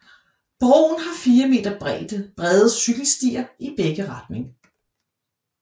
Broen har 4 meter bredde cykelstier i begge retninger